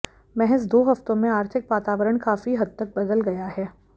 महज दो हफ्तों में आर्थिक वातावरण काफी हद तक बदल गया है